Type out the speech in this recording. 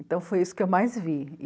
Então foi isso que eu mais vi.